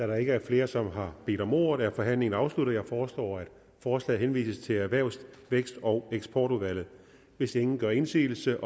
der ikke er flere som har bedt om ordet er forhandlingen afsluttet jeg foreslår at forslaget henvises til erhvervs vækst og eksportudvalget hvis ingen gør indsigelse